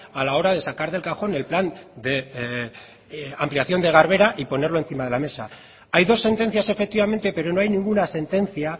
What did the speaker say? a la hora de sacar del cajón el plan de ampliación de garbera y ponerlo encima de la mesa hay dos sentencias efectivamente pero no hay ninguna sentencia